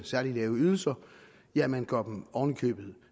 særligt lave ydelser ja man